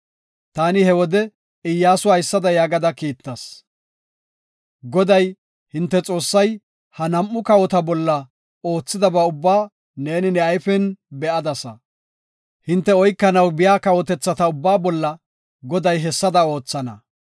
Taani he wode Iyyasu haysada yaagada kiittas. “Goday, hinte Xoossay ha nam7u kawota bolla oothidaba ubbaa neeni ne ayfen be7adasa; hinte oykanaw biya kawotethata ubbaa bolla Goday hessada oothana.